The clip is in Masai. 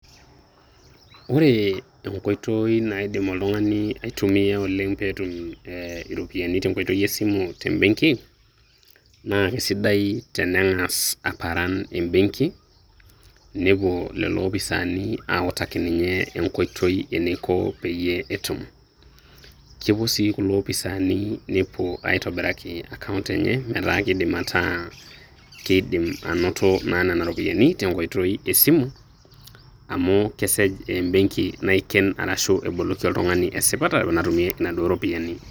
Ore enkoitoi nai naidim oltung'ani aitumia oleng' pee etum iropiani tenkoitoi e simu tembeng'i, naa ai sidai taneng'as aparan embeng'i nepuo lelo opisani autaki ninye enkoitoi eneiko peiyee etum. Kepuo sii kulo opisani nepuo aitobiraki ina akaount enye metaa keidim ataa keidim ainoto naa nena ropiani tenkoitoi esimu amu kesej embeng'i naiken arashuu eboloki oltung'ani esipata natumie naduo ropiani.